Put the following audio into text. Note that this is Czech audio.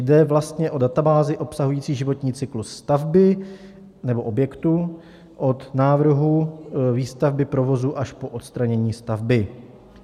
Jde vlastně o databázi obsahující životní cyklus stavby nebo objektu od návrhu výstavby, provozu až po odstranění stavby.